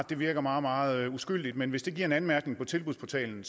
det virker meget meget uskyldigt men hvis det giver en anmærkning på tilbudsportalen